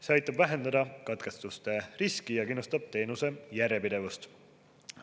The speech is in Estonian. See aitab vähendada katkestuste riski ja kindlustab teenuse järjepidevust.